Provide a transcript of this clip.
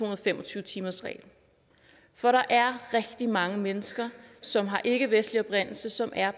og fem og tyve timersreglen for der er rigtig mange mennesker som har en ikkevestlig oprindelse som er